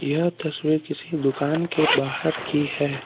यह तस्वीर किसी दुकान के बाहर की है।